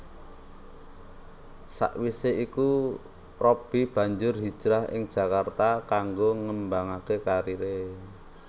Sawisé iku Robby banjur hijrah ing Jakarta kanggo ngembangaké kariré